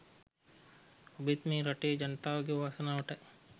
ඔබෙත් මේ රටේ ජනතාවගේ වාසනාවටයි